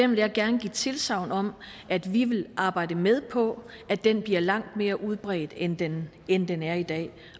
vil gerne give tilsagn om at vi vil arbejde med på at den bliver langt mere udbredt end den end den er i dag